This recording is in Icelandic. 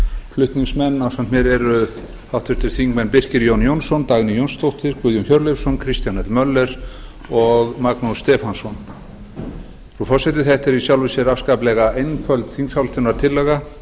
flutningsmenn ásamt mér eru háttvirtir þingmenn birkir j jónsson dagný jónsdóttir guðjón hjörleifsson kristján l möller og magnús stefánsson þetta er í sjálfu sér afskaplega einföld þingsályktunartillaga